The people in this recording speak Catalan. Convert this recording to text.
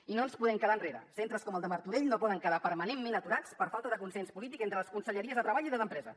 i no ens podem quedar enrere centres com el de martorell no poden quedar permanentment aturats per falta de consens polític entre les conselleries de treball i empresa